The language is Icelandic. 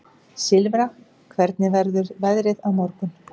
Silfra, hvernig verður veðrið á morgun?